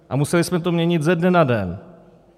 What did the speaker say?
A museli jsme to měnit ze dne na den.